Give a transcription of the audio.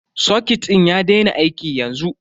Soket din ya daina aiki yanzu.